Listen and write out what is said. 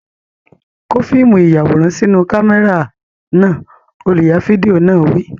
Kó fíìmù ìyàwòrán sínú kámẹ́rà náà! Olùya fídíò náà wí.